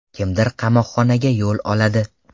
Kimdir qamoqxonga yo‘l oladi.